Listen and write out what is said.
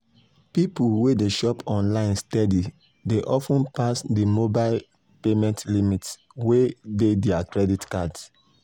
people wey dey shop online steady dey of ten pass di mobile payment limits wey dey dir credit cards